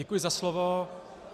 Děkuji za slovo.